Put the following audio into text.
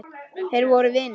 Þeir voru vinir.